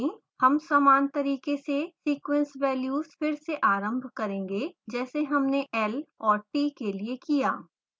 हम समान तरीके से sequence values फिर से आरंभ करेंगे जैसे हमने l और t के लिए किया